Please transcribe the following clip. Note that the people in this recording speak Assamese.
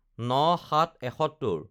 ০৯/০৭/৭১